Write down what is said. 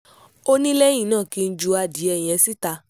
ó ní lẹ́yìn náà kí n ju adìẹ yẹn síta